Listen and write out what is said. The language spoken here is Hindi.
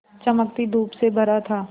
चमकती धूप से भरा था